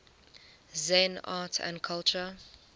zen art and culture